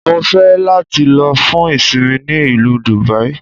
Mo ń fẹ́ láti lọ fún ìsinmi ní ìlú Dùbàí